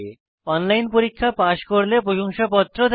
online পরীক্ষা pass করলে প্রশংসাপত্র দেয়